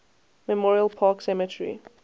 memorial park cemetery